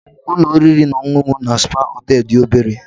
Ụlọ oriri na ọṅụṅụ na spa hotel dị obere